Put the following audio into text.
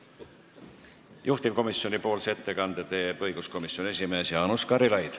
Juhtivkomisjoni ettekande teeb õiguskomisjoni esimees Jaanus Karilaid.